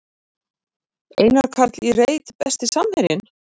Einar Karl í reit Besti samherjinn?